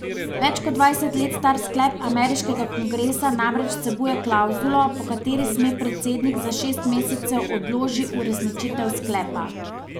Več kot dvajset let star sklep ameriškega kongresa namreč vsebuje klavzulo, po kateri sme predsednik za šest mesecev odloži uresničitev sklepa.